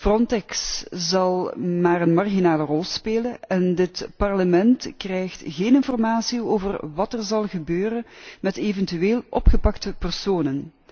Frontex zal maar een marginale rol spelen en dit Parlement krijgt geen informatie over wat er zal gebeuren met eventueel opgepakte personen.